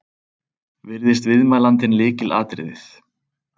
Virðist viðmælandinn lykilatriðið